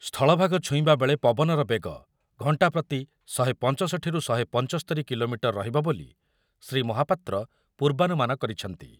ସ୍ଥଳଭାଗ ଛୁଇଁବା ବେଳେ ପବନର ବେଗ ଘଣ୍ଟାପ୍ରତି ଶହେ ପଞ୍ଚଷଠିରୁ ଶହେ ପଞ୍ଚସ୍ତୋରି କିଲୋମିଟର ରହିବ ବୋଲି ଶ୍ରୀ ମହାପାତ୍ର ପୂର୍ବାନୁମାନ କରିଛନ୍ତି ।